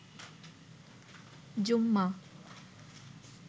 জুম্মা